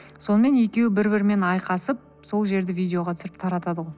сонымен екеуі бір бірімен айқасып сол жерді видеоға түсіріп таратады